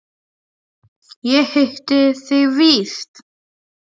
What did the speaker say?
Ég hitti þig víst!